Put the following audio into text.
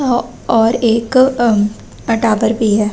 अ और एक अ टावर भी है।